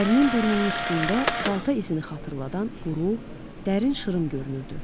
Ərinin burnunun üstündə balta izini xatırladan quru, dərin şırım görünürdü.